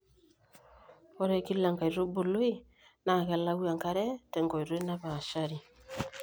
ore kila enkaitubului naa kelau enkare te nkoitoi napaashari